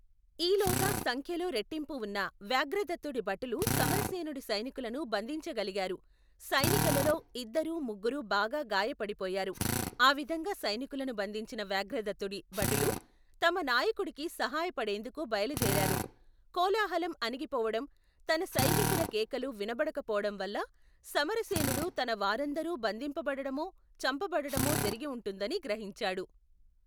ఈలోగా సంఖ్యలో రెట్టింపువున్న వ్యాఘ్రదత్తుడి భటులు సమరసేనుడి సైనికులను బంధించగలిగారు సైనికులలో ఇద్దరు ముగ్గురు బాగా గాయపడిపోయారు ఆవిధంగా సైనికులను బంధించిన వ్యాఘ్రదత్తుడి భటులు తమ నాయకుడికి సహాయపడేందుకు బయలుదేరారు కోలాహలం అణగిపోవటం తన సైనికుల కేకలు వినబడకపోవటం వల్ల సమరసేనుడు తన వారందరూ బంధింపబడటమో చంపబడటమో జరిగివుంటుందని గ్రహించాడు.